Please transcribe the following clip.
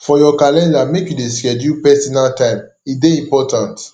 for your calender make you dey schedule personal time e dey important